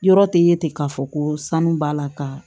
Yɔrɔ tɛ ye ten k'a fɔ ko sanu b'a la ka